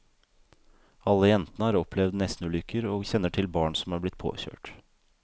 Alle jentene har opplevd nestenulykker, og kjenner til barn som er blitt påkjørt.